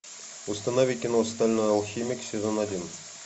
установи кино стальной алхимик сезон один